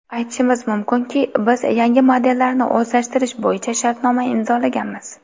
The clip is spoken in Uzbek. Aytishim mumkinki, biz yangi modellarni o‘zlashtirish bo‘yicha shartnoma imzolaganmiz.